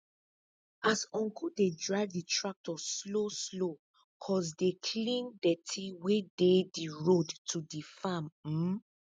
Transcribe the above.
as uncu dey drive di tractor slow slow cuz dey clear dirty wey dey di road to di farm um